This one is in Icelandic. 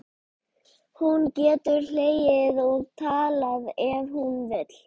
Hún getur hlegið og talað ef hún vill.